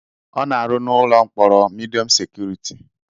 Ọ na-arụ n'ụlọ mkpọrọ midiọm sekuriti.